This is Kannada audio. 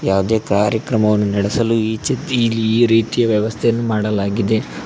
ಯಾವುದೇ ಕಾರ್ಯಕ್ರಮವನ್ನು ನಡೆಸಲು ಈ ಚಿತ್ತಿ ಇಲ್ಲಿ ಈ ರೀತಿಯ ವ್ಯವಸ್ಥೆಯನ್ನು ಮಾಡಲಾಗಿದೆ.